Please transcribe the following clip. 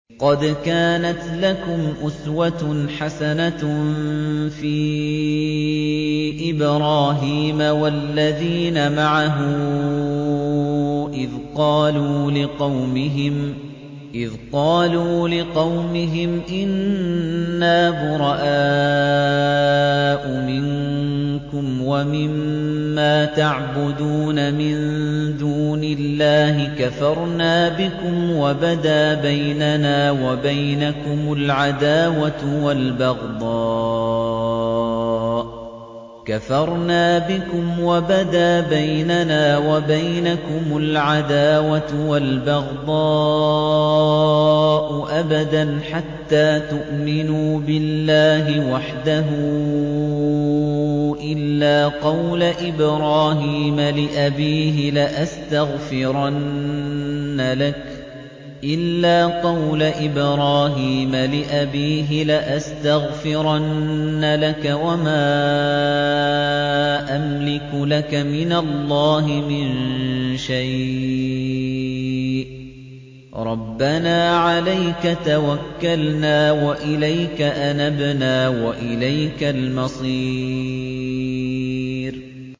قَدْ كَانَتْ لَكُمْ أُسْوَةٌ حَسَنَةٌ فِي إِبْرَاهِيمَ وَالَّذِينَ مَعَهُ إِذْ قَالُوا لِقَوْمِهِمْ إِنَّا بُرَآءُ مِنكُمْ وَمِمَّا تَعْبُدُونَ مِن دُونِ اللَّهِ كَفَرْنَا بِكُمْ وَبَدَا بَيْنَنَا وَبَيْنَكُمُ الْعَدَاوَةُ وَالْبَغْضَاءُ أَبَدًا حَتَّىٰ تُؤْمِنُوا بِاللَّهِ وَحْدَهُ إِلَّا قَوْلَ إِبْرَاهِيمَ لِأَبِيهِ لَأَسْتَغْفِرَنَّ لَكَ وَمَا أَمْلِكُ لَكَ مِنَ اللَّهِ مِن شَيْءٍ ۖ رَّبَّنَا عَلَيْكَ تَوَكَّلْنَا وَإِلَيْكَ أَنَبْنَا وَإِلَيْكَ الْمَصِيرُ